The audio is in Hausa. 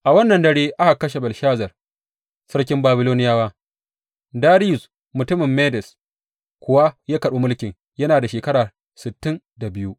A wannan dare aka kashe Belshazar, sarkin Babiloniyawa, Dariyus mutumin Medes kuwa ya karɓi mulkin, yana da shekara sittin da biyu.